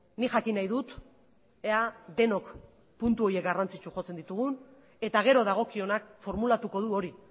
nik jakin nahi dut ea denok puntu horiek garrantzitsu jotzen ditugun eta gero dagokionak formulatuko du hori